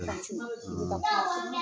Kilasi la kuma min na